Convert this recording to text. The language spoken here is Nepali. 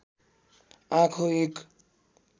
आँखो एक